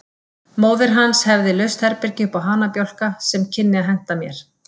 Móðir hans hefði laust herbergi uppá hanabjálka sem kynni að henta mér.